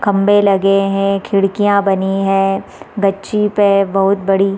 खम्भे लगे है खिड़कियाँ बनी है गच्छी पे बहोत बड़ी --